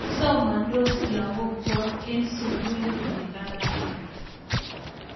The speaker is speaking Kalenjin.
Somandos lagok chok eng' sukulit ne kararan